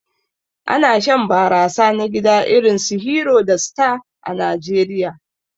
Ana shan barasa na gida irinsu "Hero" da "Star" a Najeriya.